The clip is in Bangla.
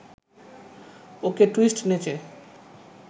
ওকে টুইস্ট নেচে